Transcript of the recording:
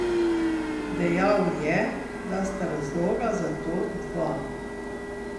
Dejal je, da sta razloga za to dva.